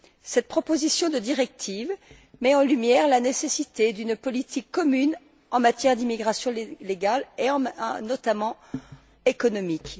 Cette proposition de directive met en lumière la nécessité d'une politique commune en matière d'immigration légale et notamment économique.